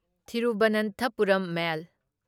Thiruvananthapuram ꯃꯦꯜ